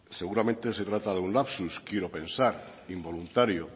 seguramente se trata de un lapsus quiero pensar involuntario